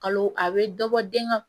Kalo a bɛ dɔ bɔ den ka